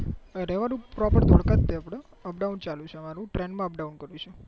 રહેવાનું proper ઢોલકા જ છે આપડે અપડાઉન ચાલુ છે મારું train માં અપડાઉન